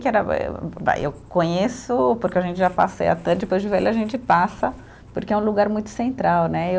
Que era eh vai, eu conheço, porque a gente já passeia até depois de velho a gente passa, porque é um lugar muito central, né?